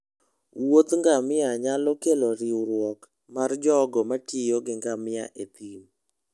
wuoth ngamia nyalo kero riurwok mar jogo matiyo gi ngamia e thim.